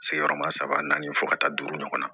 Sigiyɔrɔma saba naani fo ka taa duuru ɲɔgɔnna